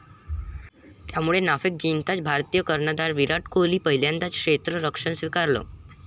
त्यामुळे नाणेफेक जिंकताच भारतीय कर्णधार विराट कोहलीने पहिल्यांदा क्षेत्ररक्षण स्वीकारलं.